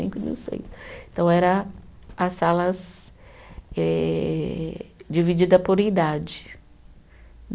Cinco e do seis. Então, era as salas eh divididas por idade.